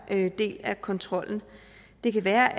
del af kontrollen det kan være